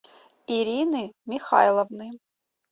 ирины михайловны